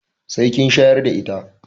Sai kin shayar da ita.